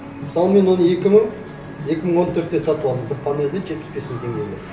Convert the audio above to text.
мысалы мен оны екі мың екі мың он төртте сатып алдым бір панельді жетпіс бес мың теңгеге